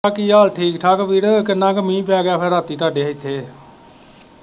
ਉਹ ਕੀ ਹਾਲ ਠੀਕ ਠਾਕ ਵੀਰੇ ਕਿੰਨਾ ਕ ਮੀਂਹ ਪੈ ਗਿਆ ਫਿਰ ਰਾਤੀ ਤੁਹਾਡੇ ਇੱਥੇ?